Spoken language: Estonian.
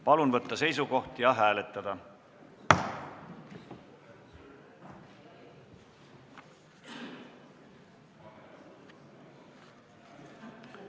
Palun võtta seisukoht ja hääletada!